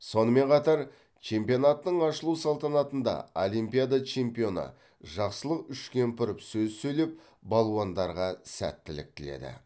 сонымен қатар чемпионаттың ашылу салтанатында олимпиада чемпионы жақсылық үшкемпіров сөз сөйлеп балуандарға сәттілік тіледі